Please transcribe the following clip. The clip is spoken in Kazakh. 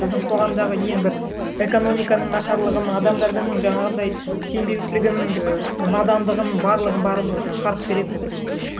біздің қоғамдағы ең бір экономиканың нашарлығын адамдардың жаңағындай сенбеушілігін і надандығын барлығын барлығын шығарып беретін бір